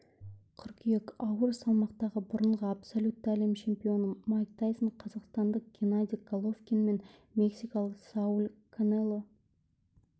қыркүйек ауыр салмақтағы бұрынғы абсолютті әлем чемпионы майк тайсон қазақстандық геннадий головкин мен мексикалық сауль канело